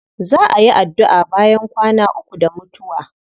Za a yi addu'a bayan kwana uku da mutuwa.